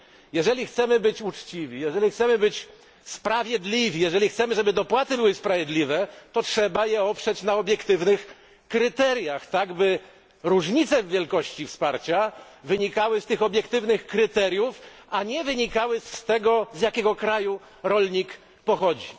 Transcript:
Jeżeli chcemy być uczciwi, jeżeli chcemy być sprawiedliwi, jeżeli chcemy, żeby dopłaty były sprawiedliwe, to trzeba je oprzeć na obiektywnych kryteriach, tak by różnice w wielkości wsparcia wynikały z tych obiektywnych kryteriów, a nie z tego, z jakiego kraju rolnik pochodzi.